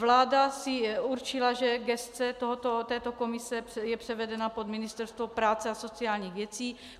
Vláda si určila, že gesce této komise je převedena pod Ministerstvo práce a sociálních věcí.